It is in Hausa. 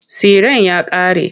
Tsiren ya ƙare.